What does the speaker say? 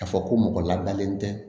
K'a fɔ ko mɔgɔ ladalen tɛ